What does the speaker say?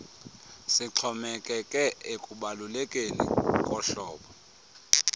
sixhomekeke ekubalulekeni kohlobo